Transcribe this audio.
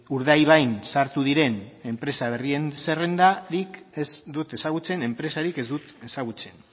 urdaibain sartu diren enpresa berrien zerrendarik ez dut ezagutzen enpresarik ez dut ezagutzen